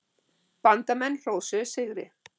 Bandamenn hrósuðu sigri.